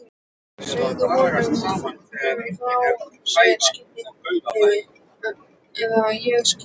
Segðu honum að leggja frá sér kyndilinn eða ég skýt.